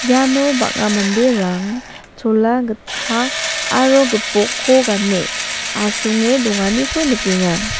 iano bang·a manderang chola gitchak aro gipok ko gane asonge donganiko nikenga.